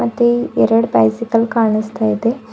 ಮತ್ತೆ ಎರಡ್ ಬೈಸಿಕಲ್ ಕಾಣುಸ್ತಾ ಇದೆ.